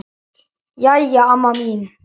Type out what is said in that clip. Jæja, amma mín.